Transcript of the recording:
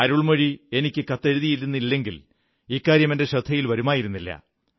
അരുൾമൊഴി എനിക്ക് കത്തെഴുതിയിരുന്നില്ലെങ്കിൽ ഇക്കാര്യം എന്റെ ശ്രദ്ധയിൽ വരുമായിരുന്നില്ല